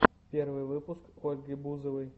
первый выпуск ольги бузовой